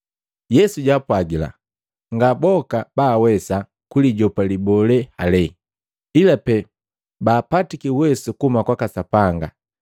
Yesu jaapwagila, “Nga boka baawesa kulijopa libolee heli, ila pee baapatiki uwesu kuhuma kwaka Sapanga.